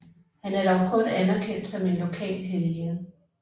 Han er dog kun anerkendt som en lokal helgen